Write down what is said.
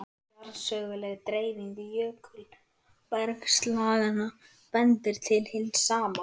Jarðsöguleg dreifing jökulbergslaganna bendir til hins sama.